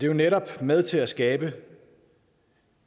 jo netop med til at skabe